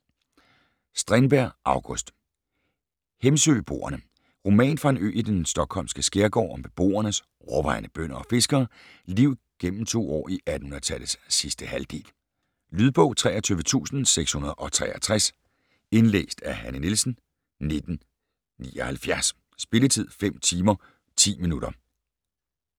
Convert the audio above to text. Strindberg, August: Hemsöboerne Roman fra en ø i den stockholmske skærgård, om beboernes - overvejende bønder og fiskere - liv gennem to år i 1800-tallets sidste halvdel. Lydbog 23663 Indlæst af Hanne Nielsen, 1979. Spilletid: 5 timer, 10 minutter.